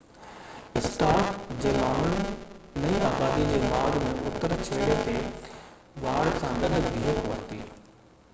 Starc جي ماڻهن نئين آبادي جي ماڳ جي اتر ڇيڙي تي واڙ سان گڏ بيهڪ ورتي